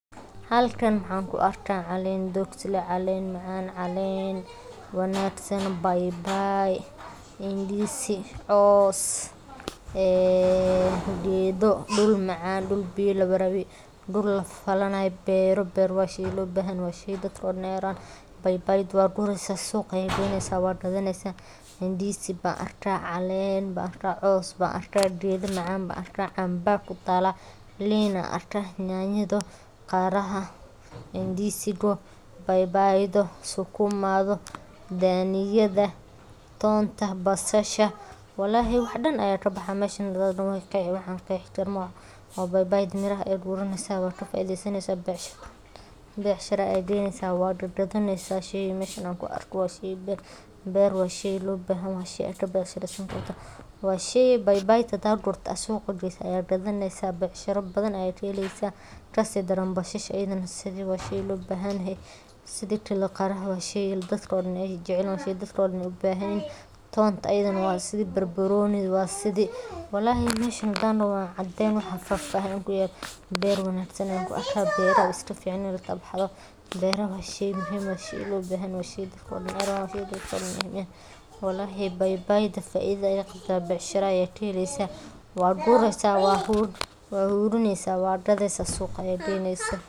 Nidaamka maaraynta dhulka waa hab istiraatiiji ah oo si qoto dheer uga shaqeeya qorsheynta, ilaalinta, isticmaalka, iyo horumarinta kheyraadka dabiiciga ah ee dhulka, kaasoo si isdaba joog ah u eegaya baahiyaha bulshada, deegaanka, iyo dhaqaalaha si loo xaqiijiyo in adeegsiga dhulku uu noqdo mid waara, cadaalad ah, isla markaana waxtar u leh jiilasha maanta iyo kuwa mustaqbalka, iyadoo la adeegsanayo farsamooyin casri ah sida sawir-qaadista dayax-gacmeedka, xog uruurin dhul iyo dhismeed, iyo kaabayaasha sharciyeed ee xakameeya lahaanshaha dhulka, taasoo muhiim u ah hagaajinta maamulka hantida guud, kordhinta wax-soo-saarka beeraha, ilaalinta deegaanka dabiiciga ah.